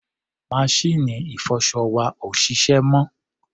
Maṣíìnì ìfọṣọ wa ò ṣiṣẹ́ mọ́.